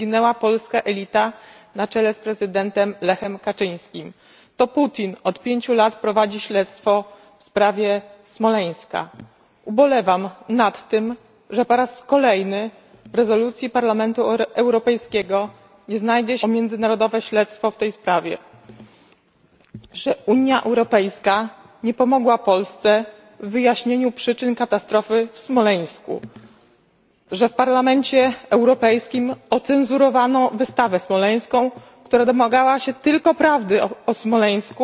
zginęła polska elita, na czele z prezydentem Lechem Kaczyńskim. To Putin od pięciu lat prowadzi śledztwo w sprawie Smoleńska. Ubolewam nad tym, że po raz kolejny w rezolucji Parlamentu Europejskiego nie znajdzie się apel o międzynarodowe śledztwo w tej sprawie, że Unia Europejska nie pomogła Polsce w wyjaśnieniu przyczyn katastrofy w Smoleńsku, że w Parlamencie Europejskim ocenzurowano wystawę smoleńską, która domagała się tylko prawdy o Smoleńsku,